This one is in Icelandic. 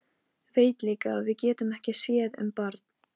Veit líka að við getum ekki séð um barn.